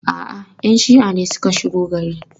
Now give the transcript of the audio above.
A'a, 'yan shi'a ne suka shigo gari.